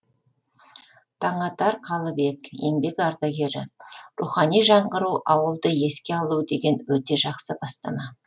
таңатар қалыбек еңбек ардагері рухани жаңғыру ауылды еске алу деген өте жақсы бастама